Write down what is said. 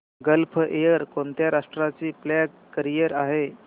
gulf Air कोणत्या राष्ट्राची flag carrier आहे